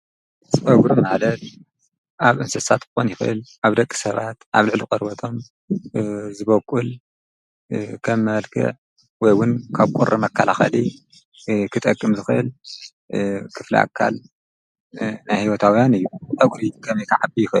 ፀጕሪ መዓለድ ኣብ እንስሳት ኾን ይኮል ኣብ ደቂ ሰባት ኣብ ልዕሊ ቐርበቶም ዝበቊል ከም መልክ ወይውን ካብ ቈሪ መካላኸሊ ክጠቅም ዝኸል ክፍልኣካል ናሕይወታውያን እዩ። ፀጕሪ ከም ከዓቢ ይኹእል?